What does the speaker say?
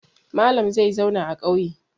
Malam zai zauna a ƙauye.